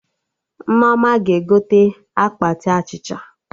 Nneoma ga-egote akpati achịcha